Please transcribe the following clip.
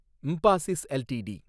Mphasis LTD